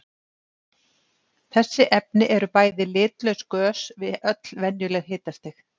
Þessi efni eru bæði litlaus gös við öll venjuleg hitastig.